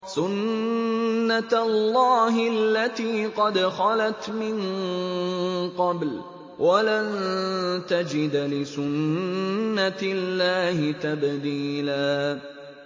سُنَّةَ اللَّهِ الَّتِي قَدْ خَلَتْ مِن قَبْلُ ۖ وَلَن تَجِدَ لِسُنَّةِ اللَّهِ تَبْدِيلًا